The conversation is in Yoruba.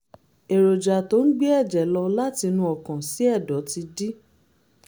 èròjà tó ń gbé ẹ̀jẹ̀ lọ láti inú ọkàn sí ẹ̀dọ̀ ti dí